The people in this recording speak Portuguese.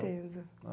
certeza.